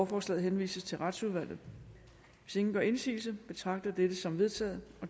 forslaget henvises til retsudvalget hvis ingen gør indsigelse betragter jeg dette som vedtaget